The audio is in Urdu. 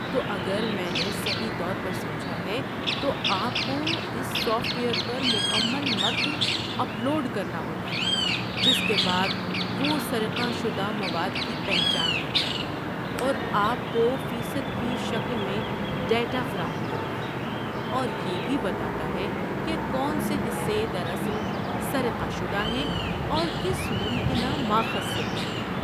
تو، اگر میں نے صحیح طور پر سمجھا ہے تو، آپ کو اس سافٹ ویئر پر مکمل متن اپلوڈ کرنا ہوتا ہے، جس کے بعد وہ سرقہ شدہ مواد کی پہچان کرتا ہے اور آپ کو فیصد کی شکل میں ڈیٹا فراہم کرتا ہے، اور یہ بھی بتاتا ہے کہ کون سے حصے دراصل سرقہ شدہ ہیں اور کس ممکنہ ماخذ سے ہیں۔